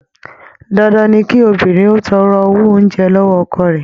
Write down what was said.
Dandan ni kí obìnrin ó tọrọ owó oúnjẹ lọ́wọ́ ọkọ rẹ̀.